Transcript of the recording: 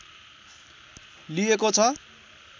लिएको छ